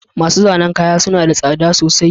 Masu zanen kaya suna da tsada sosai